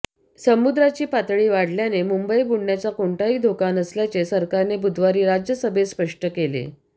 समुद्राची पातळी वाढल्याने मुंबई बुडण्याचा कोणताही धोका नसल्याचे सरकारने बुधवारी राज्यसभेत स्पष्ट केले